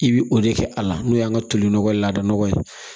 I bi o de kɛ a la n'o y'an ka toli nɔgɔ ye lada nɔgɔ ye